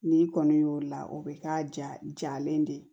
N'i kɔni y'o la o bɛ k'a ja jalen de ye